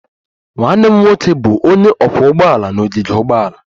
Nwanne m nwoke bụ onye ọkwọ ụgbọala n'ogige ụgbọala